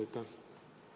Aitäh!